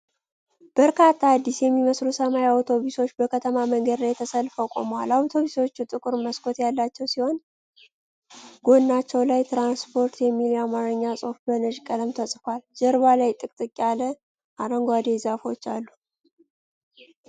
በርካታ አዲስ የሚመስሉ ሰማያዊ አውቶቡሶች በከተማ መንገድ ላይ ተሰልፈው ቆመዋል። አውቶቡሶቹ ጥቁር መስኮት ያላቸው ሲሆን፣ ጎናቸው ላይ “ትራንስፖርት” የሚል የአማርኛ ጽሑፍ በነጭ ቀለም ተጽፏል። ጀርባ ላይ ጥቅጥቅ ያለ አረንጓዴ ዛፎች አሉ።